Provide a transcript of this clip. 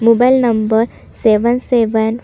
mobile number seven seven --